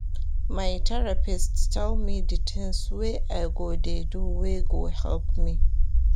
My therapist tell me di tins wey I go dey do wey go help me.